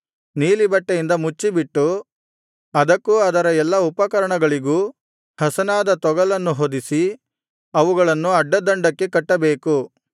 ನೀಲಿಬಟ್ಟೆಯಿಂದ ಮುಚ್ಚಿಬಿಟ್ಟು ಅದಕ್ಕೂ ಅದರ ಎಲ್ಲಾ ಉಪಕರಣಗಳಿಗೂ ಹಸನಾದ ತೊಗಲನ್ನು ಹೊದಿಸಿ ಅವುಗಳನ್ನು ಅಡ್ಡದಂಡಕ್ಕೆ ಕಟ್ಟಬೇಕು